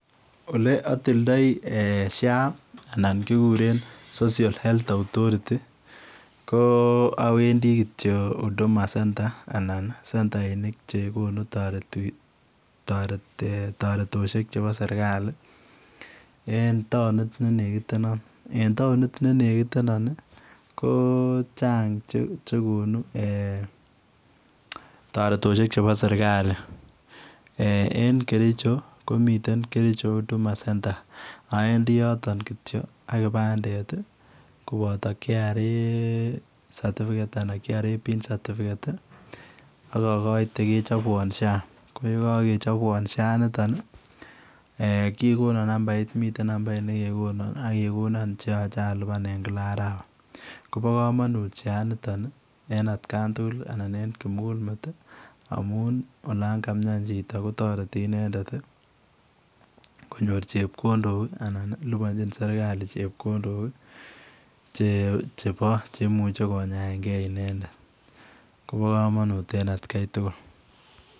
Ole atil ndaoi [social health authority] anan kigureen [social health authority] ko awendii kityoi huduma [center] anan centainik chekonuu taretoshek chebo serikali en taunit ne nekitenaan en taunit ne nekitenaan ko chaang che konuu taretoshek chebo serikali en kericho komiteen kericho huduma center awendii yotoon kityoi ak kipandet ii kobata [kenya revenue authority pin] anan [kRA pin certificate] ak agoitei kechabwaan [social health authority] ko ye kakechapwaan [social health insurance] initoon ii eeh miten nambait nekekonaan ak kegonaan che yachei alupaan kila arawa koba kamanuut missing en en at kaan tugul ii anan en kimugul met ii amuun olaan kamian chitoo kotaretii inendet ii konyooru chepkondook ii anan lupanjiin serikali chepkondook ii che bo cheimuiche konyaen gei inendet kobaa kamanuut en at Kai tugul.